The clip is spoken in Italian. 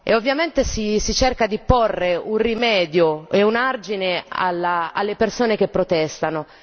Ovviamente si cerca di porre un rimedio e un argine alle persone che protestano.